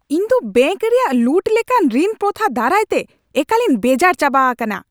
ᱤᱧᱫᱚ ᱵᱮᱹᱝᱠ ᱨᱮᱭᱟᱜ ᱞᱩᱴ ᱞᱮᱠᱟᱱ ᱨᱤᱱ ᱯᱨᱚᱛᱷᱟ ᱫᱟᱨᱟᱭᱛᱮ ᱮᱠᱟᱞᱤᱧ ᱵᱮᱡᱟᱨ ᱪᱟᱵᱟ ᱟᱠᱟᱱᱟ ᱾